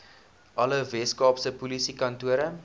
alle weskaapse polisiekantore